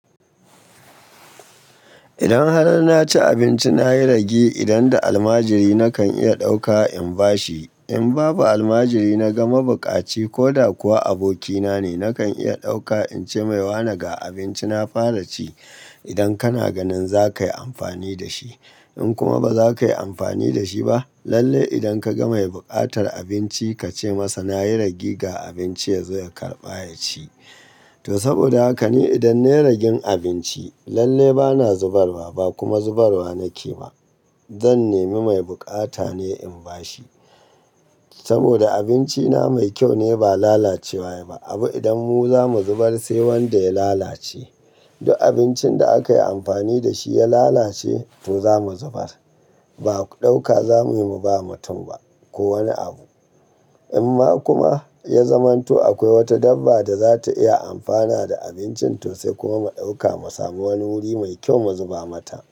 Idan har na ci abinci, na yi rage idan da almajiri nakan iya ɗauka in ba shi. In babu almajiri, na ga mabuƙaci ko da kuwa abokina ne, nakan iya ɗauka in ce mai, "Wane ga abinci na fara ci idan kana ganin za ka yi amfani da shi." In kuma ba za ka yi amfani da shi ba, lalle idan ka ga mai buƙatar abinci ka ce masa, "na yi rage ga abinci, ya zo ya karɓa ya ci." To saboda haka ni idan na yi ragen abinci, lalle ba na zubarwa ba kuma zubarwa na ke ba. Zan nemi mai bukata ne in ba shi saboda abinci na mai kyau ne ba lalacewa wa yayi ba. Abu idan mu za mu zubar sai wanda ya lalace. Duk abincin da aka yi amfani da shi ya lalace to za mu zubar. Ba ɗauka za mu yi mu ba mutum ba ko wani abu. In ma kuma ya zamanto akwai wata dabba da za ta iya amfana da abincin to sai kuma mu ɗauka mu samu wani wuri mai kyau mu zuba mata.